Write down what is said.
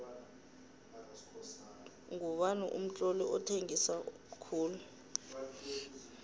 ngubani umtloli othengisa khulu